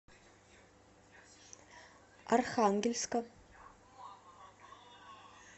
архангельска